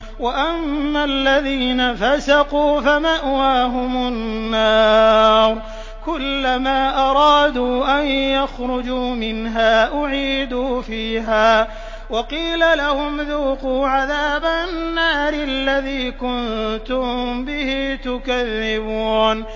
وَأَمَّا الَّذِينَ فَسَقُوا فَمَأْوَاهُمُ النَّارُ ۖ كُلَّمَا أَرَادُوا أَن يَخْرُجُوا مِنْهَا أُعِيدُوا فِيهَا وَقِيلَ لَهُمْ ذُوقُوا عَذَابَ النَّارِ الَّذِي كُنتُم بِهِ تُكَذِّبُونَ